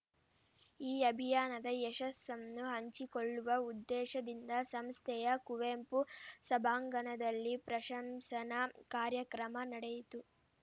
ಈ ಅಭಿಯಾನದ ಯಶಸ್ಸನ್ನು ಹಂಚಿಕೊಳ್ಳುವ ಉದ್ದೇಶದಿಂದ ಸಂಸ್ಥೆಯ ಕುವೆಂಪು ಸಭಾಂಗಣದಲ್ಲಿ ಪ್ರಶಂಸನಾ ಕಾರ್ಯಕ್ರಮ ನಡೆಯಿತು